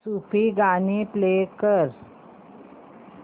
सूफी गाणी प्ले कर